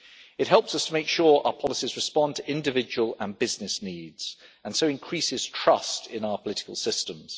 It helps us to make sure our policies respond to individual and business needs and so increases trust in our political systems.